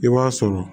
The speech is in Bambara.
I b'a sɔrɔ